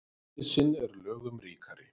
Nauðsyn er lögum ríkari.